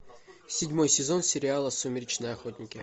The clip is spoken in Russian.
седьмой сезон сериала сумеречные охотники